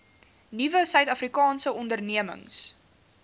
nuwe suidafrikaanse ondernemings